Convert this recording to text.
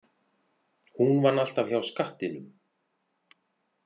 Hún vann alltaf hjá skattinum.